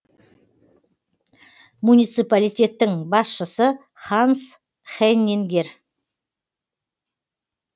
муниципалитеттің басшысы ханс хеннингер